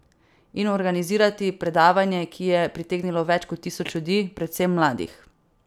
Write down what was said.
In organizirati predavanje, ki je pritegnilo več kot tisoč ljudi, predvsem mladih.